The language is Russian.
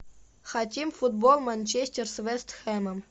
хотим футбол манчестер с вест хэмом